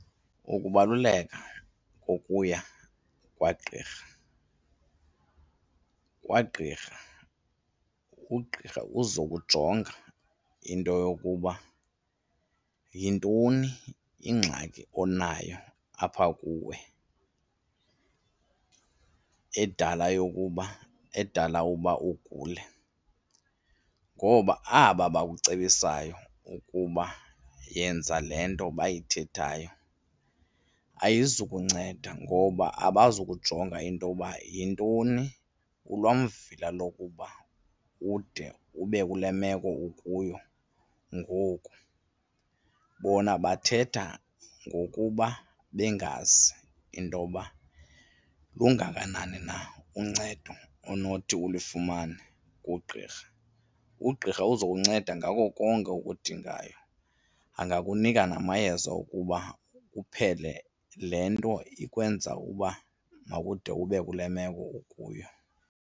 Ukubaluleka kokuya kwagqirha, kwagqirha ugqirha uzokujonga into yokuba yintoni ingxaki onayo apha kuwe edala yokuba edala uba ugule, ngoba aba bakucebisayo ukuba yenza le nto bayithethayo ayizukunceda ngoba abazukujonga intoba yintoni kulwamvila lokuba ude ube kule meko ukuyo ngoku. Bona bathetha ngokuba bengazi intoba lungakanani na uncedo onothi ulifumane kugqirha. Ugqirha uza kunceda ngako konke okudingayo angakunika namayeza okuba uphele le nto ikwenza uba makude ube kule meko ukuyo.